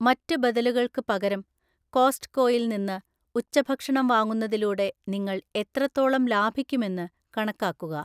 മറ്റ് ബദലുകൾക്ക് പകരം കോസ്റ്റ്കോയിൽ നിന്ന് ഉച്ചഭക്ഷണം വാങ്ങുന്നതിലൂടെ നിങ്ങൾ എത്രത്തോളം ലാഭിക്കുമെന്ന് കണക്കാക്കുക.